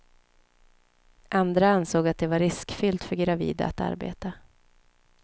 Andra ansåg att det var riskfyllt för gravida att arbeta.